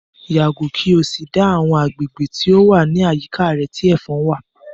Yàgò kí o sì dá àwọn agbègbè tó wà ní àyíká rẹ tí ẹ̀fon wà!